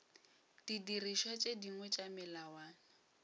didirišwa tše dingwe tša melawana